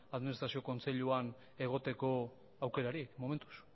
administrazio kontseiluan egoteko aukerarik momentuz